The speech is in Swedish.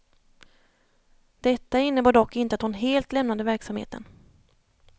Detta innebar dock inte att hon helt lämnade verksamheten.